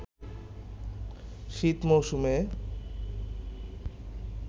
শীত মৌসুমে